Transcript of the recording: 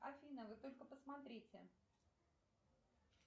афина вы только посмотрите